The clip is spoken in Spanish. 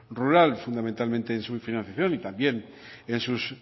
rural fundamentalmente en su financiación y también en sus